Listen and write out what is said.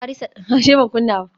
Yariman Farisa dan kasar Iran ne